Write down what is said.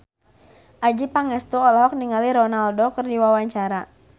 Adjie Pangestu olohok ningali Ronaldo keur diwawancara